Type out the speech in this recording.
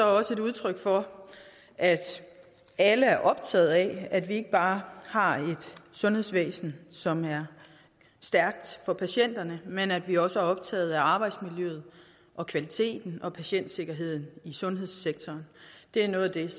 også et udtryk for at alle er optaget af at vi ikke bare har et sundhedsvæsen som er stærkt for patienterne men at vi også er optaget af arbejdsmiljøet og kvaliteten og patientsikkerheden i sundhedssektoren det er noget af det